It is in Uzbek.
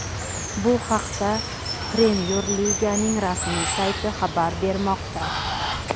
Bu haqda Premyer Liganing rasmiy sayti xabar bermoqda .